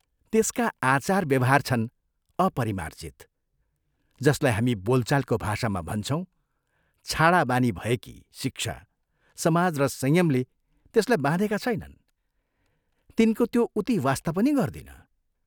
त्यसका आचार व्यवहार छन् अपरिमार्जित, जसलाई हामी बोलचालको भाषामा भन्छौं छाडा बानी भएकी शिक्षा, समाज र संयमले त्यसलाई बाँधेका छैनन्, तिनको त्यो उति वास्ता पनि गर्दिन।